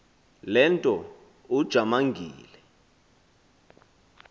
le nto ujamangile